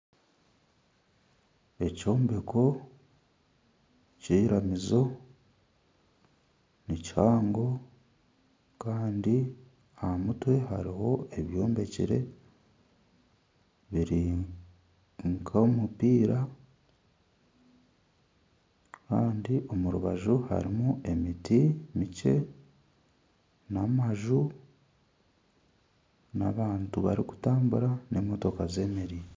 Ekyombeko ky'eiramizo nikihango kandi aha mutwe kandi aha mutwe hariho ebyombekire biri nk'omupiira kandi omu rubaju harimu emiti mikye n'amaju, n'abantu barikutambura n'emotoka zeemereire